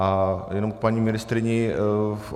A jenom k paní ministryni.